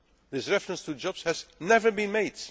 mentioned. This reference to jobs has never